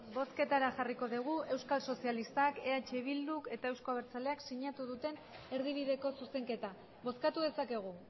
bozketara jarriko dugu euskal sozialistak eh bilduk eta euzko abertzaleak sinatu duten erdibideko zuzenketa bozkatu dezakegu